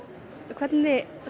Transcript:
hvernig